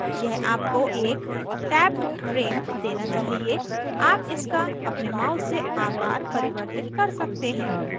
यह आपको एक tabbed frame देना चाहिए आप इसका अपने mouse से आकार परिवर्तित कर सकते हैं